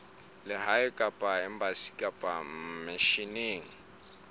lehae kapa embasing kapa misheneng